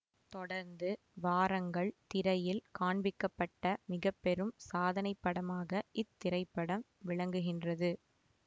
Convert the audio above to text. தொடர்ந்து வாரங்கள் திரையில் காண்பிக்கப்பட்ட மிக பெரும் சாதனைப்படமாக இத்திரைப்படம் விளங்குகின்றது